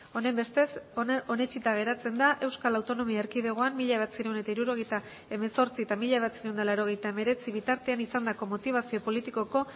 honenbestez onetsita geratzen da euskal autonomia erkidegoan mila bederatziehun eta hirurogeita hemezortzi eta mila bederatziehun eta laurogeita hemeretzi bitartean izandako motibazio politikoko